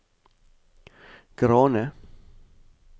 Grane